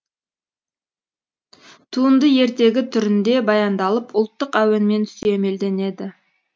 туынды ертегі түрінде баяндалып ұлттық әуенмен сүйемелденеді